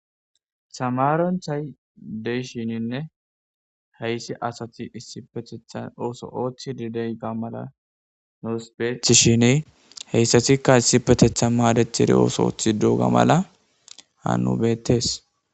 samaronthay deyshininne heyssi asati issipetethan ooso ooththi didey ga mala noospeethshini heyssatikka issipetetha maadethiri ooso oothi duuga mala ha nubeettes